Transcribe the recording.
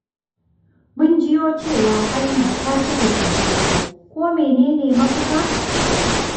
Mun jiyo cewa hanya ta cika cunkoso. Ko menene mafita?